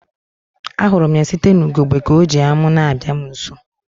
A hụrụ m ya site n'ugegbe ka ọ ji amu na-abịa m nso